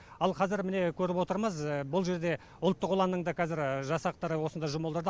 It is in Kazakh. ал қазір міне көріп отырмыз бұл жерде ұлттық ұланның да қазір жасақтары осында жұмылдырды